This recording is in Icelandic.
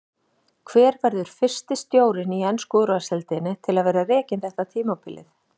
Hver verður fyrsti stjórinn í ensku úrvalsdeildinni til að vera rekinn þetta tímabilið?